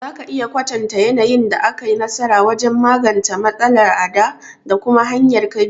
Za ka iya kwatanta yanayin da ka yi nasara wajen magance matsala a dā, da kuma hanyar ka bi?